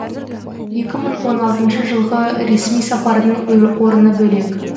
екі мың он алтыншы жылғы ресми сапардың орны бөлек